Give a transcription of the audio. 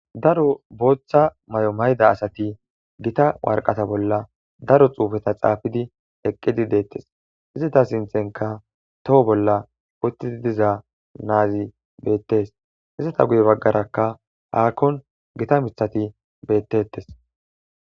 Daro booththa may'o mayda asati gita warqata bolla daro xuufeta xaafidi eqqidi deettes izita sinthenka toho bolla uttii diza naazi beettes hisata guye baggarakka haakkon gita mithati bettettes.